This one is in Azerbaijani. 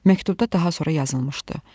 Məktubda daha sonra yazılmışdı: